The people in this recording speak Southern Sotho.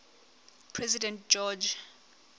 president george